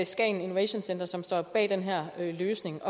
skagen innovation center som stod bag den her løsning